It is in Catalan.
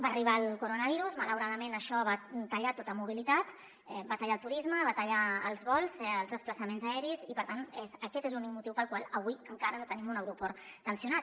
va arribar el coronavirus malauradament això va tallar tota mobilitat va tallar el turisme va tallar els vols els desplaçaments aeris i per tant aquest és l’únic motiu pel qual avui encara no tenim un aeroport tensionat